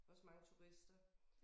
Også mange turister